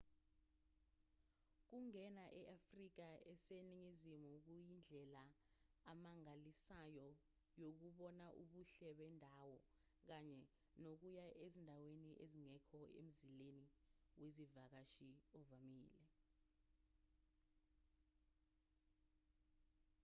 ukungena e-afrika eseningizimu kuyindlela amangalisayo yokubona ubuhle bendawo kanye nokuya ezindaweni ezingekho emzileni wezivakashi ovamile